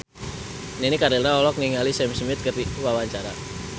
Nini Carlina olohok ningali Sam Smith keur diwawancara